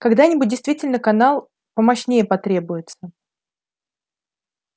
когда-нибудь действительно канал помощнее потребуется